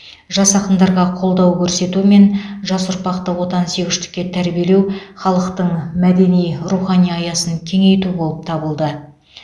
жас ақындарға қолдау көрсету мен жас ұрпақты отансүйгіштікке тәрбиелеу халықтың мәдени рухани аясын кеңейту болып табылды